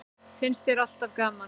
Finnst þér alltaf gaman?